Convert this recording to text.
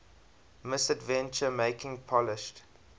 misadventure making polished